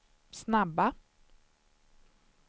snabba